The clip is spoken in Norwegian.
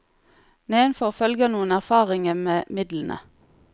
Nedenfor følger noen erfaringe med midlene.